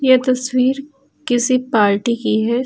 यह तस्वीर किसी पार्टी की है।